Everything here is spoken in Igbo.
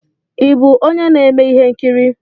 Ị bụ onye na-eme ihe nkiri?